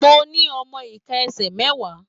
Mo ní ọmọ ika ẹsẹ mẹwa.